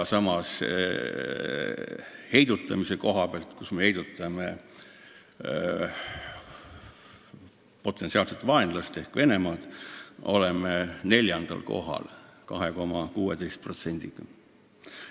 Samas me heidutame kõvasti oma potentsiaalset vaenlast ehk Venemaad, oleme pingereas neljandal kohal 2,16%-ga.